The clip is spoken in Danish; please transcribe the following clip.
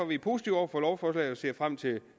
vi positive over for lovforslaget og ser frem til